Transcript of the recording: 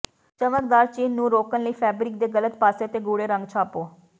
ਚਮਕਦਾਰ ਚਿੰਨ੍ਹ ਨੂੰ ਰੋਕਣ ਲਈ ਫੈਬਰਿਕ ਦੇ ਗਲਤ ਪਾਸੇ ਤੇ ਗੂੜੇ ਰੰਗ ਛਾਪੋ